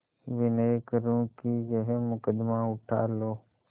विनय करुँ कि यह मुकदमा उठा लो